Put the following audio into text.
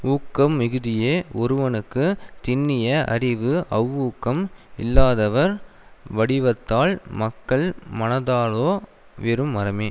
ஊக்கம் மிகுதியே ஒருவனுக்கு திண்ணிய அறிவு அவ்வூக்கம் இல்லாதவர் வடிவத்தால் மக்கள் மனத்தாலோ வெறும் மரமே